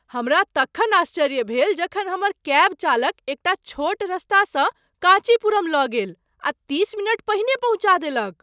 हमरा तखन आश्चर्य भेल जखन हमर कैब चालक एकटा छोट रस्तासँ काँचीपुरम लऽ गेल आ तीस मिनट पहिने पहुँचा देलक!